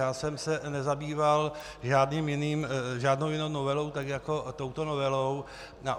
Já jsem se nezabýval žádnou jinou novelou tak jako touto novelou.